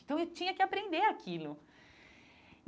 Então eu tinha que aprender aquilo.